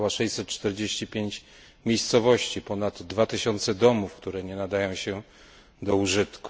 Zalała 645 miejscowości, ponad 2 tysiące domów, które nie nadają się do użytku.